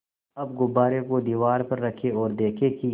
अब गुब्बारे को दीवार पर रखें ओर देखें कि